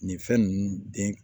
Nin fɛn ninnu den